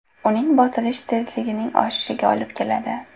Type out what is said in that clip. Uning bosilishi tezlikning oshishiga olib keladi.